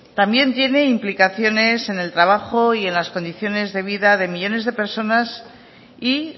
también tiene implicaciones en el trabajo y en las condiciones de vida de millónes de personas y